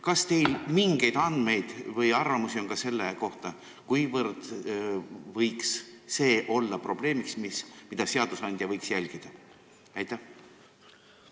Kas teil on mingeid andmeid või arvamusi, kuivõrd võib tegu olla probleemiga, millele seadusandja võiks tähelepanu pöörata?